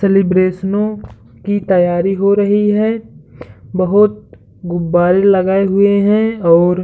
सेलब्रैशनो की तैयारी हो रही है। बोहोत गुब्बारे लगाए हुए हैं और --